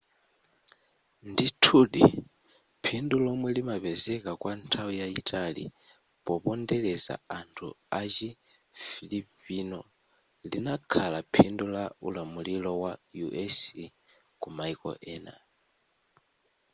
ndithudi phindu lomwe limapezeka kwa nthawi yayitali popondeleza anthu achi filipino linakhala phindu la ulamulilo wa u.s. ku maiko ena